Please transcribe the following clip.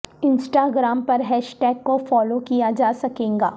Insta gram پر hashtag کو فالو کیا جاسکے گا